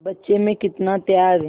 बच्चे में कितना त्याग